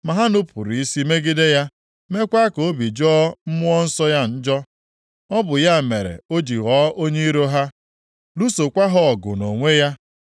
Ma ha nupuru isi megide ya, meekwa ka obi jọọ Mmụọ Nsọ ya njọ. Ọ bụ ya mere o ji ghọọ onye iro ha, lụsokwa ha ọgụ nʼonwe ya.